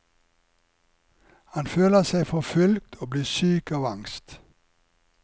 Han føler seg forfulgt og blir syk av angst.